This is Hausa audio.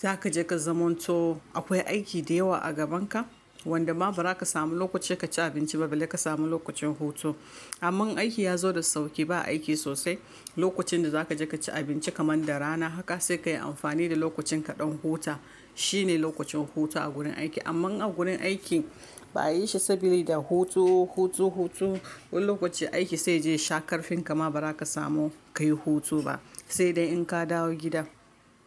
za ka je ka zamanto akwai aiki da yawa a gaban ka, wanda ma ba za ka samu lokaci ka ci abinci ba, balle ka samu lokacin hutu. Amman in aiki ya zo da sauƙi, ba aiki sosai. Lokacin da za ka je ka ci abinci kamar da rana, haka sai ka yi amfani da lokacin kaɗan huta. Shi ne lokacin hutu a gurin aiki. Amma a gurin aiki ba a yi shi saboda da hutu, hutu, hutu. Wani lokacin aiki sai je sha karfin, gama ba za ka samu ka yi hutu ba. Sai dai in ka dawo gida.